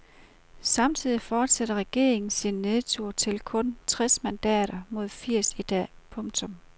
Samtidig fortsætter regeringen sin nedtur til kun tres mandater mod firs i dag. punktum